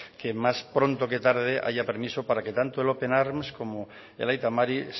que más pronto que tarde haya permiso para que tanto el open arms como el aita mari